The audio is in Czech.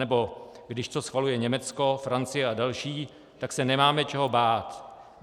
Anebo: když to schvaluje Německo, Francie a další, tak se nemáme čeho bát.